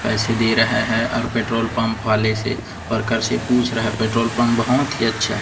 पैसे दे रहा है और पेट्रोल पंप वाले से वर्कर से पूछ रहा है पेट्रोल पंप बहुत ही अच्छा है।